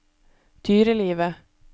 dyrelivet